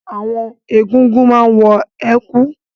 Àwọn egúngún máa ń wọ ẹ̀kú